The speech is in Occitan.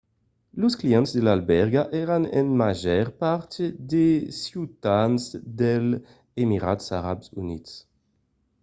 los clients de l'albèrga èran en màger part de ciutadans dels emirats arabs units